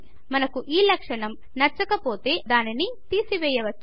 మనకు ఈ లక్షణం నచ్చకపోతే మనం దానిని తెసివేయ్యవచ్చు